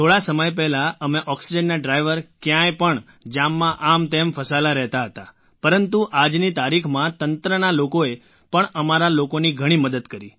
થોડા સમય પહેલાં અમે ઑક્સિજનના ડ્રાઇવર ક્યાંય પણ જામમાં આમતેમ ફસાયેલા રહેતા હતા પરંતુ આજની તારીખમાં તંત્રના લોકોએ પણ અમારા લોકોની ઘણી મદદ કરી